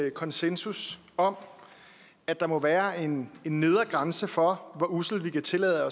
en konsensus om at der må være en nedre grænse for hvor usselt vi kan tillade